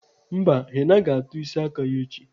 Mba, Henna ga-atọ isi aka ya echi.